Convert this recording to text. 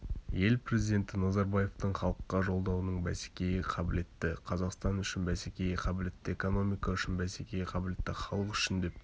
ел президенті назарбаевтың халыққа жолдауының бәсекеге қабілетті қазақстан үшін бәсекеге қабілетті экономика үшін бәсекеге қабілетті халық үшін деп